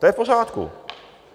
To je v pořádku.